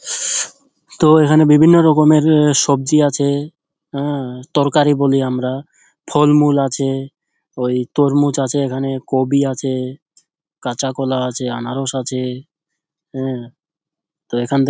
তো এখানে বিভিন্ন রকমের সবজি আছে। অ্যা তরকারি বলি আমরা ফলমূল আছে। ওই তরমুজ আছে এখানে কোবি আছে কাঁচাকলা আছে আনারস আছে অ্যা তো এখান থেকে --